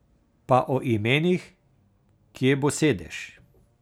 Pa o imenih, kje bo sedež.